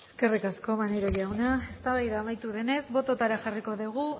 eskerrik asko maneiro jauna eztabaida amaitu denez bototara jarriko dugu